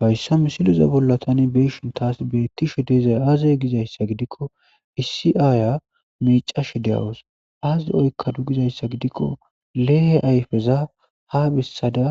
Hayssa misileza bolla tani be'ishin taas beettishe dizay aaze gizayssa gidikko issi aaya miicashe de'awus aaze oykkadu gizayssa gidikko leehe ayfeza ha bessada